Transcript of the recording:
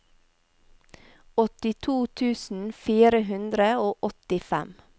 åttito tusen fire hundre og åttifem